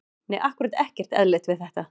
Nei ákkúrat ekkert eðlilegt við þetta.